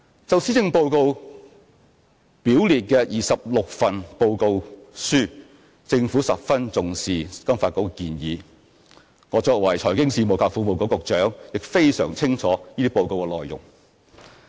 就施政報告表列的26份報告書，政府十分重視金發局的建議，我作為財經事務及庫務局局長，亦非常清楚這些報告的內容。